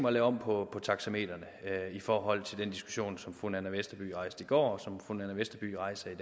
at lave om på taxametrene i forhold til den diskussion som fru nanna westerby rejste går og som fru nanna westerby rejser i